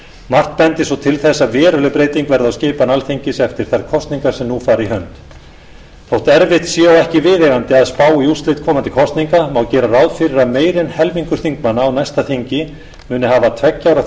margt bendir svo til þess að veruleg breyting verði á skipan alþingis eftir þær kosningar sem nú fara í hönd þótt erfitt sé og ekki viðeigandi að spá í úrslit komandi kosninga má gera ráð fyrir að meira en helmingur þingmanna á næsta þingi muni hafa tveggja ára